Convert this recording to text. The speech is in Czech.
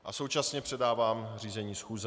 A současně předávám řízení schůze.